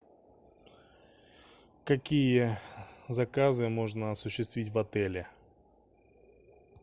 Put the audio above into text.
какие заказы можно осуществить в отеле